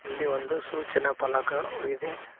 ಇಲ್ಲಿ ಒಂದು ಸೂಚನಾ ಫಲಕ ವಿದೆ.